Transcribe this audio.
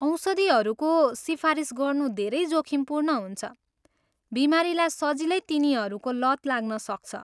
औषधिहरूको सिफारिस गर्नु धेरै जोखिमपूर्ण हुन्छ, बिमारीलाई सजिलै तिनीहरूको लत लाग्न सक्छ।